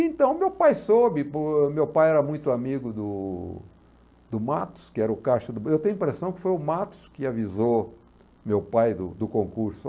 Então, meu pai soube, por, meu pai era muito amigo do do Matos, que era o caixa do Eu tenho a impressão que foi o Matos que avisou meu pai do do concurso.